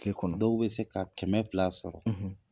Tile kɔnɔ dɔw be se ka kɛmɛ fila sɔrɔ.